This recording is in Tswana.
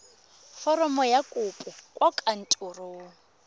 foromo ya kopo kwa kantorong